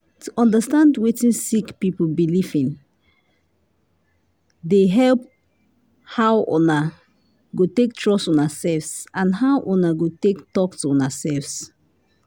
to understand wetin sick people belief in dey help how una go take trust una self and how una go take talk to una self.